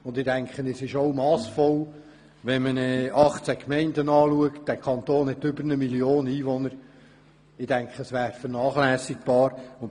Mit Blick auf diese 18 Gemeinden und in Anbetracht der Tatsache, dass dieser Kanton über 1 Million Einwohner hat, dürfte dies massvoll sein, weil es vernachlässigbar wäre.